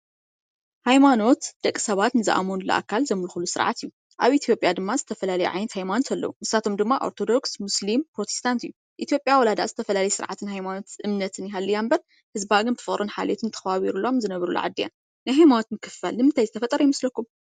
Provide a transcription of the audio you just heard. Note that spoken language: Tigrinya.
ሃይማኖት ደቂ ሰባት ንዝአመንሉ አካል ዘምልኽሉን ስርዓት እዩ። አብ ኢትዮጵያ ድማ ዝተፈላለዩ ዓይነት ሃይማኖት አለው፣ ንሳቶም ድማ ኦርቶዶክስ ሙስሊም ፕሮቴስታንት እዩ። ኢትዮጵያ ዋላ ዝተፈላለያ ዓይነት ስርዓትን እምነትን ይሃልያ እምበር ህዝባ ብፍቅርን ሓልዮትን ተኸባቢሩ ዝነብረላ ዓዲ እያ። ናይ ሃይማኖት ምክፍፋል ንምንታይ ዝተፈጠረ ይመስለኩም?